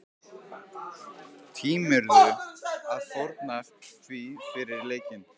Tímirðu að fórna því fyrir leikinn?